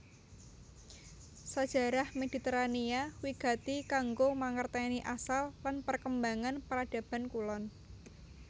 Sajarah Mediterania wigati kanggo mangertèni asal lan perkembangan Peradaban Kulon